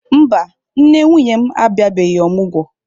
Mba, nne nwunye m abịabeghị omụgwo.